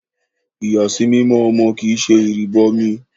Ìyàsímímọ́ ọmọ kì ṣe ìrìbọmi